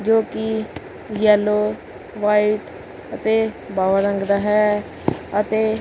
ਜੋ ਕਿ yellow white ਅਤੇ ਬਾਵਾ ਰੰਗ ਦਾ ਹੈ ਅਤੇ--